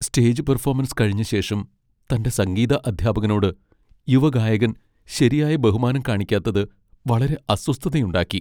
Stage performance കഴിഞ്ഞ ശേഷം തന്റെ സംഗീത അദ്ധ്യാപകനോട് യുവഗായകൻ ശരിയായ ബഹുമാനം കാണിക്കാത്തത് വളരെ അസ്വസ്ഥതയുണ്ടാക്കി.